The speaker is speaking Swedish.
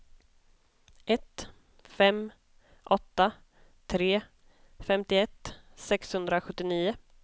ett fem åtta tre femtioett sexhundrasjuttionio